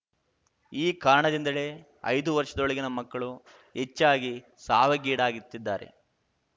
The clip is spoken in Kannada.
ಈ ಕಾರಣದಿಂದಲೇ ಐದು ವರ್ಷದೊಳಗಿನ ಮಕ್ಕಳು ಹೆಚ್ಚಾಗಿ ಸಾವಿಗೀಡಾಗುತ್ತಿದ್ದಾರೆ